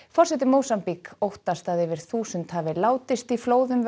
forseti Mósambík óttast að yfir þúsund hafi látist í flóðum